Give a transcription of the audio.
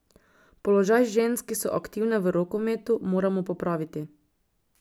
Položaj žensk, ki so aktivne v rokometu, moramo popraviti.